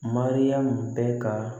Mariyamu bɛ ka